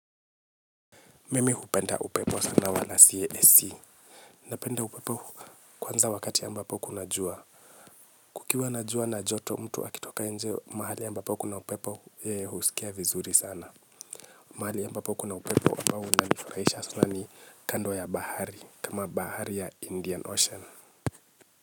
Mimi hupenda upepo sana wala si AC. Napenda upepo kwanza wakati ambapo kuna jua. Kukiwa na jua na joto, mtu akitoka nje mahali ambapo kuna upepo, yeye huskia vizuri sana. Mahali ambapo kuna upepo ambao unanifurahisha sana ni kando ya bahari, kama Bahari ya Indian Ocean.